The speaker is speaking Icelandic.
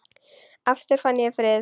Aftur fann ég frið.